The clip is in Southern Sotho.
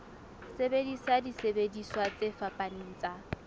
sebedisa disebediswa tse fapaneng tsa